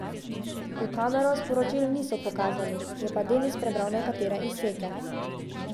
V kamero sporočil niso pokazali, je pa Denis prebral nekatere izseke.